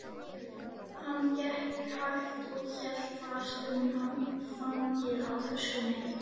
Hann gekk hægt og hélt fast um handfangið á töskunni.